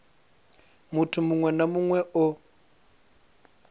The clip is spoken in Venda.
muthu muṅwe na muṅwe o